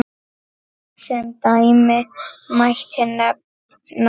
Sem dæmi mætti nefna